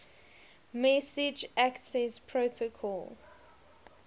message access protocol